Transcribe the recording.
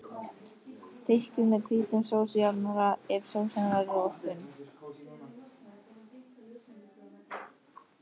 Þykkið með hvítum sósujafnara ef sósan verður of þunn.